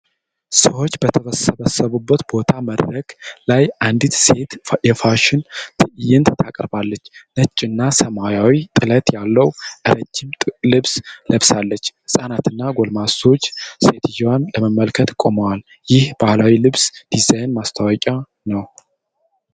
ሰዎች በተሰበሰቡበት ቦታ መድረክ ላይ አንዲት ሴት የፋሽን ትዕይንት ታቀርባለች። ነጭና ሰማያዊ ጥለት ያለው ረጅም ልብስ ለብሳለች። ህፃናትና ጎልማሶች ሴትየዋን ለመመልከት ቆመዋል። ይህም ባህላዊ የልብስ ዲዛይን ማስተዋወቂያ ነው።